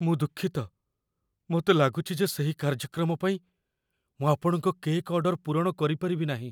ମୁଁ ଦୁଃଖିତ, ମୋତେ ଲାଗୁଛି ଯେ ସେହି କାର୍ଯ୍ୟକ୍ରମ ପାଇଁ ମୁଁ ଆପଣଙ୍କ କେକ୍ ଅର୍ଡର ପୂରଣ କରିପାରିବି ନାହିଁ।